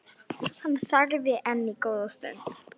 Hann þagði enn góða stund.